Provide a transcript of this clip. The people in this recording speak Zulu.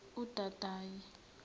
udodayi